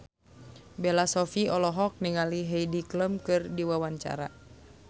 Bella Shofie olohok ningali Heidi Klum keur diwawancara